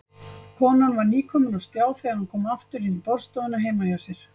Konan var nýkomin á stjá þegar hann kom aftur inn í borðstofuna heima hjá sér.